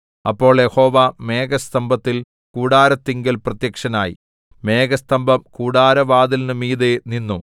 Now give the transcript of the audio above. അപ്പോൾ യഹോവ മേഘസ്തംഭത്തിൽ കൂടാരത്തിങ്കൽ പ്രത്യക്ഷനായി മേഘസ്തംഭം കൂടാരവാതിലിന് മീതെ നിന്നു